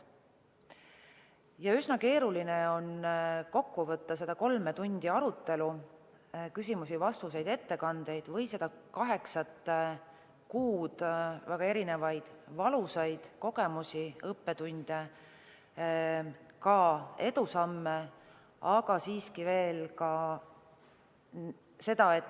Üsna keeruline on kokku võtta seda kolme tundi arutelu – küsimusi, vastuseid, ettekandeid – või seda kaheksat kuud väga erinevaid valusaid kogemusi ja õppetunde, aga ka edusamme.